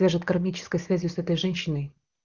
ляжет кармической связью с этой женщиной